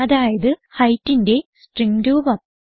അതായത് Heightന്റെ സ്ട്രിംഗ് രൂപം